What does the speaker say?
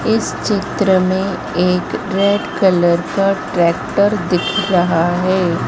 इस चित्र में एक रेड कलर का ट्रैक्टर दिख रहा है।